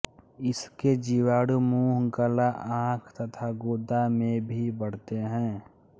इसके जीवाणु मुंह गला आंख तथा गुदा में भी बढ़ते हैं